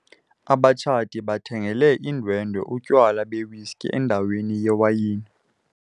Abatshati bathengele iindwendwe utywala bewiski endaweni yewayini.